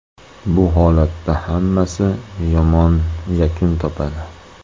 Bu holatda hammasi yomon yakun topadi.